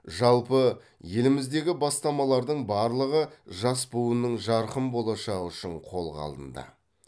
жалпы еліміздегі бастамалардың барлығы жас буынның жарқын болашағы үшін қолға алынды